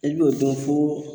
I b'o dɔn fo